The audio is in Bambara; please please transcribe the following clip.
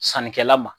Sannikɛla ma